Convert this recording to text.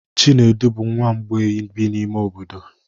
Chinedu bụ nwa mgbei bi n'ime obodo.